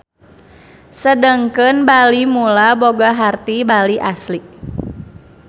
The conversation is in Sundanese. Sedengkeun Bali Mula boga harti Bali Asli.